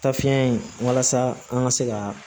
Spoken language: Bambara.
Tafiɲɛ in walasa an ka se ka